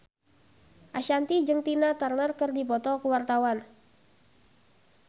Ashanti jeung Tina Turner keur dipoto ku wartawan